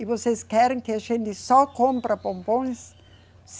E vocês querem que a gente só compra bombons?